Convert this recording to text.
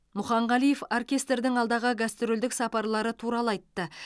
мұханғалиев оркестрдің алдағы гастрольдік сапарлары туралы айтты